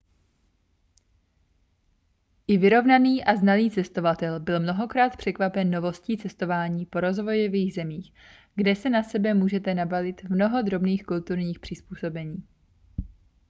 i vyrovnaný a znalý cestovatel byl mnohokrát překvapen novostí cestování po rozvojových zemích kde se na sebe může nabalit mnoho drobných kulturních přizpůsobení